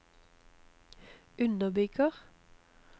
underbygger